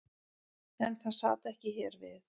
En það sat ekki hér við.